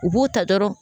U b'u ta dɔrɔn